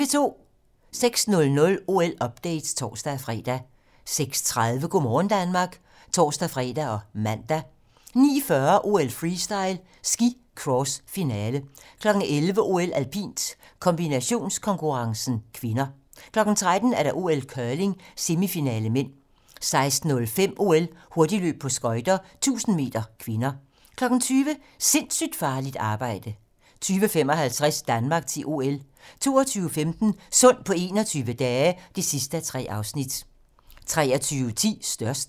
06:00: OL-update (tor-fre) 06:30: Go' morgen Danmark (tor-fre og man) 09:40: OL: Freestyle - ski Cross, finale 11:00: OL: Alpint - kombinationskonkurrencen (k) 13:00: OL: Curling - semifinale (m) 16:05: OL: Hurtigløb på skøjter - 1000 m (k) 20:00: Sindssygt farligt arbejde 20:55: Danmark til OL 22:15: Sund på 21 dage (3:3) 23:10: Størst